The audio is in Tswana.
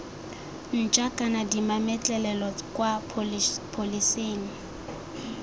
ntšha kana dimametlelelo kwa pholeseng